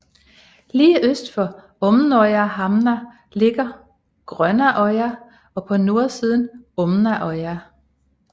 Lige øst for Åmnøyhamna ligger Grønnøya på nordsiden af Åmnøya